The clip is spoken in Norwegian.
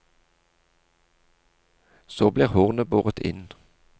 Så blir hornet båret inn.